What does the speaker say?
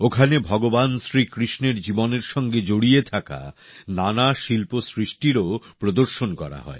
ওখানে ভগবান শ্রীকৃষ্ণের জীবনের সঙ্গে জড়িয়ে থাকা নানা শিল্পসৃষ্টিরও প্রদর্শন করা হয়